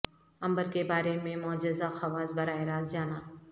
امبر کے بارے میں معجزہ خواص براہ راست جانا